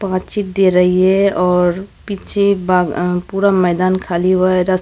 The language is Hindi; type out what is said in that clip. दे रही हैं और पीछे भाग अ पूरा मैदान खाली बस।